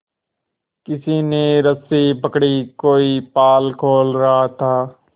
किसी ने रस्सी पकड़ी कोई पाल खोल रहा था